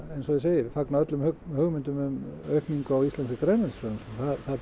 eins og ég segi ég fagna öllum hugmyndum um aukningu á íslenskri grænmetisframleiðslu